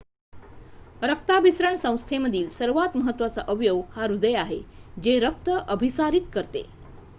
रक्ताभिसरण संस्थेमधील सर्वात महत्वाचा अवयव हा हृदय आहे जे रक्त अभिसारीत करते